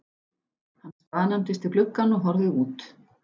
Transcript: Hann staðnæmdist við gluggann og horfði út.